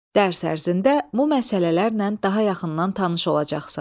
Dərs ərzində bu məsələlərlə daha yaxından tanış olacaqsan.